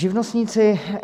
Živnostníci.